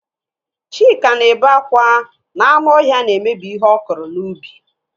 Chika na-ebe akwa na anụ ọhịa na-emebi ihe ọ kụrụ n'ubi.